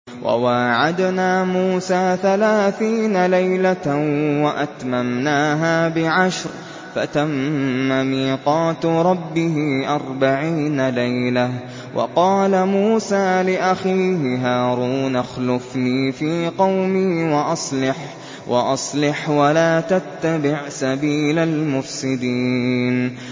۞ وَوَاعَدْنَا مُوسَىٰ ثَلَاثِينَ لَيْلَةً وَأَتْمَمْنَاهَا بِعَشْرٍ فَتَمَّ مِيقَاتُ رَبِّهِ أَرْبَعِينَ لَيْلَةً ۚ وَقَالَ مُوسَىٰ لِأَخِيهِ هَارُونَ اخْلُفْنِي فِي قَوْمِي وَأَصْلِحْ وَلَا تَتَّبِعْ سَبِيلَ الْمُفْسِدِينَ